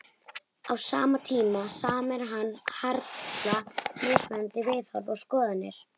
Á sama tíma sameinar hann harla mismunandi viðhorf og skoðanir.